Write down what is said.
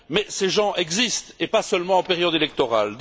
Ces gens existent, et pas seulement en période électorale.